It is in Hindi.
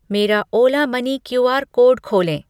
मेरा ओला मनी क्यूआर कोड खोलें।